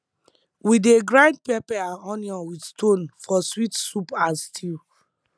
we dey grind pepper and onion with stone for sweet soup and stew